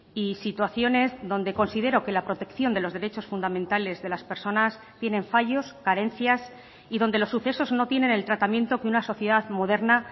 y situaciones donde considero que la protección de los derechos fundamentales de las personas tienen fallos carencias y donde los sucesos no tienen el tratamiento que una sociedad moderna